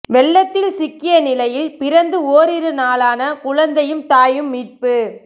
வெள்ளத்தில் சிக்கிய நிலையில் பிறந்து ஓரிரு நாளான குழந்தையும் தாயும் மீட்பு